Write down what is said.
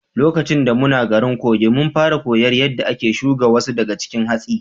Lokaci da muna garin Kogi, mun fara koyar yadda ake shuga wasu daga cikin hatsi.